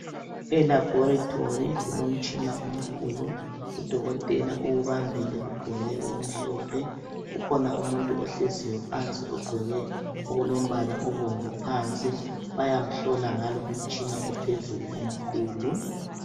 Elaboritory kulomtshina omkhulu udokotela uwubambile ugqoke okumhlophe, ukhona umuntu ohleziyo phansi ogqoke okulombala obomvu phansi bayamhlola ngalo umtshina ophezulu omkhulu